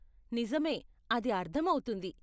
నిజమే! అది అర్ధం అవుతుంది.